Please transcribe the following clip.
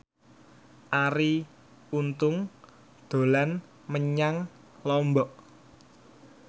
Arie Untung dolan menyang Lombok